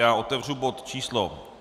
Já otevřu bod číslo